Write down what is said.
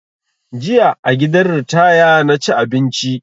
Jiya a gidan ritaya na ci abinci